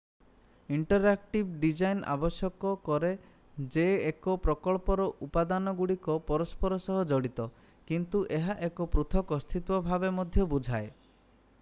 interactive design ଆବଶ୍ୟକ କରେ ଯେ ଏକ ପ୍ରକଳ୍ପର ଉପାଦାନଗୁଡ଼ିକ ପରସ୍ପର ସହ ଜଡ଼ିତ କିନ୍ତୁ ଏହା ଏକ ପୃଥକ ଅସ୍ଥିତ୍ୱ ଭାବେ ମଧ୍ୟ ବୁଝାଏ